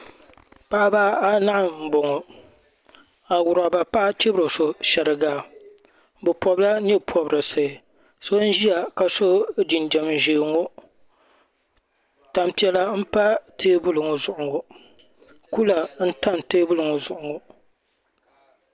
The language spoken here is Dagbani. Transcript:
Paɣaba a nahi mbɔŋɔ awuraba paɣa chibira so shɛriga bi pɔbi la yɛɛ pɔbirisi so n ziya ka so jinjam zɛɛ ŋɔ tani piɛlla m-pa tɛɛbuli ŋɔ zuɣu ŋɔ kula n tam tɛɛbuli ŋɔ zuɣu ŋɔ.